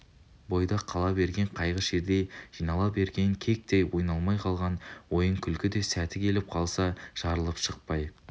бойда қала берген қайғы-шердей жинала берген кектей ойналмай қалған ойын-күлкі де сәті келіп қалса жарылып шықпай